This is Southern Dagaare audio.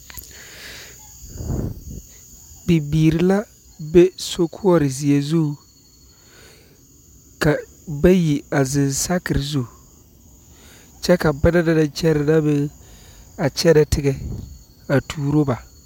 Bibiiri la be sokoɔre ziɛ zu ka bayi a zeŋ saakare zu kyɛ ka ba naŋ na naŋ kyɛre na meŋ a kyɛne teŋa a turo ba.